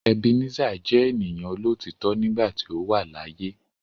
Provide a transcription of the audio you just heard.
Ebenezer je eniyan olotitọ nigba ti o wa laaye